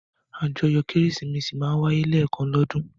Àjọyọ̀ Kérésìmesì máa ń wáyé lẹ́ẹ̀kan lọ́dún.